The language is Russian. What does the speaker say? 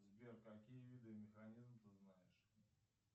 сбер какие виды механизмов ты знаешь